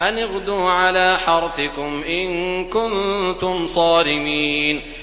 أَنِ اغْدُوا عَلَىٰ حَرْثِكُمْ إِن كُنتُمْ صَارِمِينَ